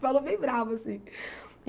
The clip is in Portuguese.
Falou bem bravo, assim.